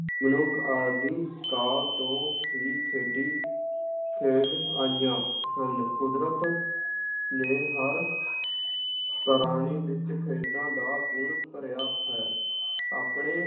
ਮਨੁੱਖ ਆਦਿ ਕਾਲ ਤੋਂ ਹੀ ਖੇਡੀ ਖੇਡ ਆਈਆਂ ਹਨ ਕੁਦਰਤ ਨੇ ਹਰ ਪ੍ਰਾਣੀ ਵਿਚ ਖੇਡਾਂ ਦਾ ਗੁਨ ਭਰਿਆ ਹੈ ਆਪਣੇ